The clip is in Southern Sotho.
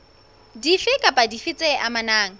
dife kapa dife tse amanang